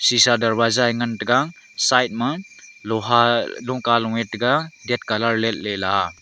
seesha darwaza eh ngantaiga side ma loha lungka lung eh tega ded colour letle.